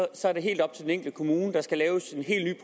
og så er det helt op til den enkelte kommune der skal laves en helt